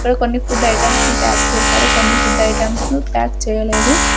ఇక్కడ కొన్ని food items ను ప్యాక్ చేశారు కొన్ని ఫుడ్ ఐటమ్స్ ను ప్యాక్ చేయలేదు.